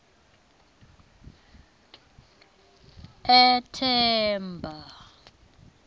ethemba